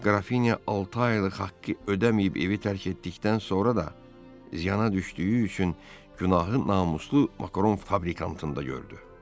Elə Qrafiniya altı aylıq haqqı ödəməyib evi tərk etdikdən sonra da ziyana düşdüyü üçün günahı namuslu makaron fabrikantında gördü.